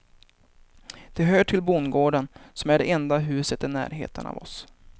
De hör till bondgården, som är det enda huset i närheten av oss.